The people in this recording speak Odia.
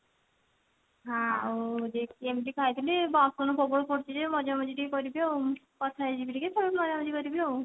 ଏମତି ଖାଇଥିଲି ବାସନ ସବୁ ପଡିଛି ଯେ ମଜା ମଜି ଟିକେ କରିବି ଆଉ କଥା ହେଇଜିବି ଟିକେ ତାପରେ ମଜା ମଜି କରିବି ଆଉ